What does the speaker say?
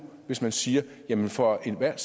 hvis man siger at vi for enhver